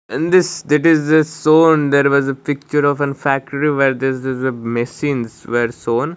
in this that is the shown there was a picture of an factory where this is the machines where shown.